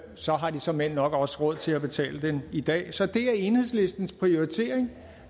så har de såmænd nok også råd til at betale den i dag så det er enhedslistens prioritering